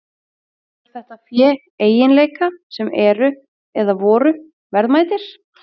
Hefur þetta fé eiginleika sem eru, eða voru, verðmætir?